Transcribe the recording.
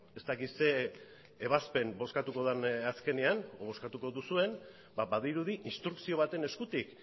ez dakit zer ebazpen bozkatuko den azkenean edo bozkatuko duzuen badirudi instrukzio baten eskutik